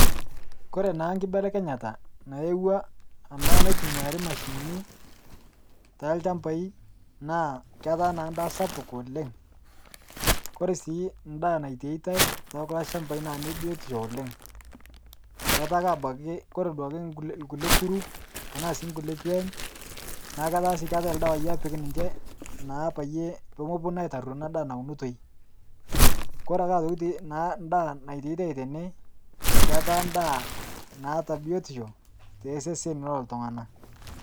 Kore naa enkibelekenyata nayaua ena natumiari mashinini toolchambia naa ketaa na edaa sapuk oleng'.Koree sii eda nitiitai tokulo shambai naa ne biotisho oleng'. Ketaa ake abaki ore kulie pooki kuru na singuekikeny na ketaa si ildawai epiki ninche naa peyie mepuonu aitaruo ena daa naunitoi. Koree na aitoki ake naa naititai tene ketaa eda naata biotisho too seseni loo iltung'ana.